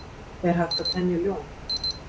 er hægt að temja ljón